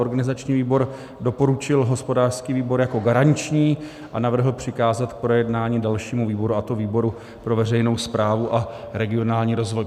Organizační výbor doporučil hospodářský výbor jako garanční a navrhl přikázat k projednání dalšímu výboru, a to výboru pro veřejnou správu a regionální rozvoj.